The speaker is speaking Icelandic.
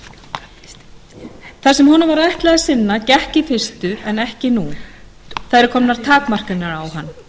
sínu það sem honum var ætlað að sinna gekk í fyrstu en ekki lengur það eru komnar takmarkanir á hann